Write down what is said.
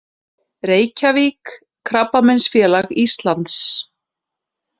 Reykjavík: Krabbameinsfélag Íslands.